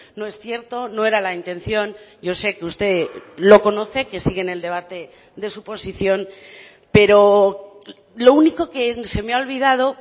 no es cierto no era la intención yo sé que usted lo conoce que sigue en el debate de su posición pero lo único que se me ha olvidado